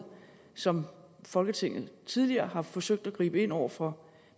som folketinget tidligere har forsøgt at gribe ind over for